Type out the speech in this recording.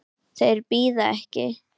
Þeir bíða ekki.